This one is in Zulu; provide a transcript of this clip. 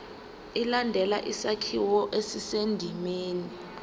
ilandele isakhiwo esisendimeni